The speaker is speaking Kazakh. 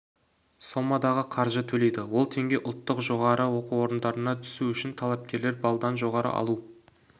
сомадағы қаржы төлейді ол теңге ұлттық жоғары оқу орындарына түсу үшін талапкерлер баллдан жоғары алу